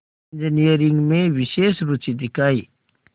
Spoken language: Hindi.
इंजीनियरिंग में विशेष रुचि दिखाई